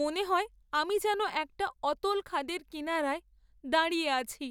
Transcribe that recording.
মনে হয় আমি যেন একটা অতল খাদের কিনারায় দাঁড়িয়ে আছি।